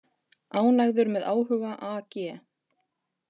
Ánægður með áhuga AG